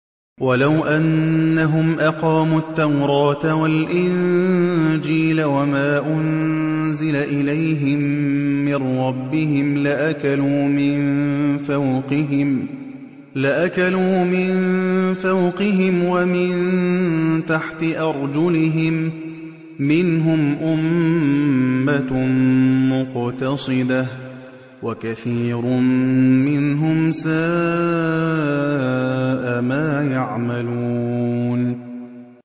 وَلَوْ أَنَّهُمْ أَقَامُوا التَّوْرَاةَ وَالْإِنجِيلَ وَمَا أُنزِلَ إِلَيْهِم مِّن رَّبِّهِمْ لَأَكَلُوا مِن فَوْقِهِمْ وَمِن تَحْتِ أَرْجُلِهِم ۚ مِّنْهُمْ أُمَّةٌ مُّقْتَصِدَةٌ ۖ وَكَثِيرٌ مِّنْهُمْ سَاءَ مَا يَعْمَلُونَ